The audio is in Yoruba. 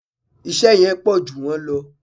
Iṣẹ́ yẹn pọ̀jù wọ́n lọ